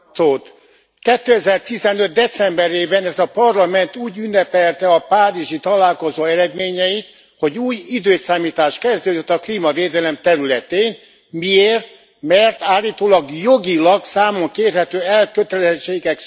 Elnök Úr! 2015 decemberében ez a Parlament úgy ünnepelte a párizsi találkozó eredményeit, hogy új időszámítás kezdődött a klímavédelem területén. Miért? Mert állítólag jogilag számon kérhető elkötelezettségek születtek.